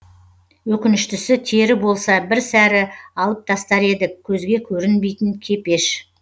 өкініштісі тері болса бір сәрі алып тастар едік көзге көрінбейтін кепеш